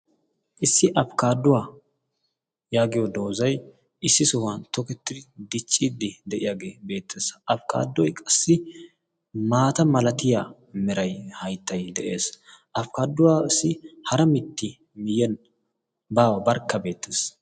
issi afkkaaduwaa yaagiyo doozai issi sohuwan tokettiri dichciiddi de'iyaagee beettees afkkaaduwa qassi maata malatiya merai haittai de'ees afkkaaduwaa issi hara mitti miyyen baawa barkka beettees.